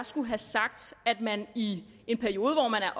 skulle have sagt at man i en periode hvor man er